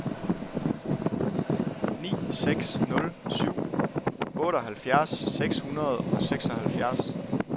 ni seks nul syv otteoghalvfjerds seks hundrede og seksoghalvfjerds